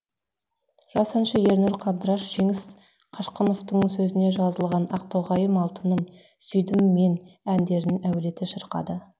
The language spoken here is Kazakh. жас әнші ернұр қабдраш жеңіс қашқыновтың сөзіне жазылған ақтоғайым алтыным сүйдім мен әндерін әуелете шырқады